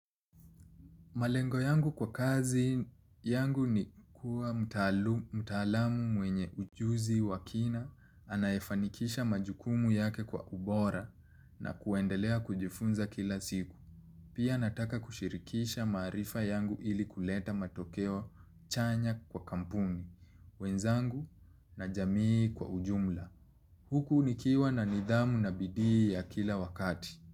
Malengo yangu kwa kazi yangu ni kuwa mtaalamu mwenye ujuzi wa kina anayefanikisha majukumu yake kwa ubora na kuendelea kujifunza kila siku. Pia nataka kushirikisha maarifa yangu ili kuleta matokeo chanya kwa kampuni, wenzangu na jamii kwa ujumla. Huku nikiwa na nidhamu na bidii ya kila wakati.